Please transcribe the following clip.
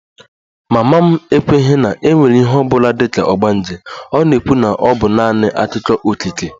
Mama m ekweghị na e nwere ihe ọ bụla dị ka ogbanje, ọ na-ekwu na ọ bụ naanị akụkọ okike